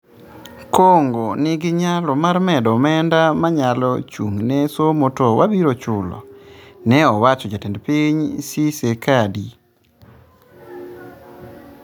"Congo ni gi nyalo mar medo omenda manyalo chung' ne somo to wabiro chulo" ne owacho jatend piny Tshisekedi,.